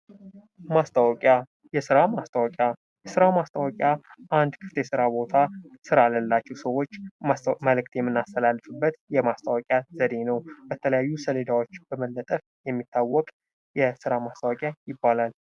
ማስታወቂያ ፡-የስራ ማስታወቂያ አንድ ክፍት የስራ ማስታወቂያ ስራ ለሌላቸው ሰዎች መልዕክት የምናስተላላልፍበት የማስታወቂያ ዘዴ ነው ።በተለያየ የማስታወቂያ ሰሌዳዎች የሚገኝ የስራ ማስታወቂያ ይባላል።